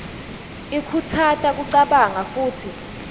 ikhutsata kucabanga futsi